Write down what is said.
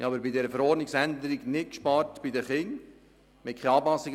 Bei der Verordnungsänderung haben wir bei den Kindern nicht gespart.